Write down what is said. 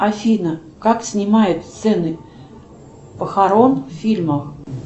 афина как снимают сцены похорон в фильмах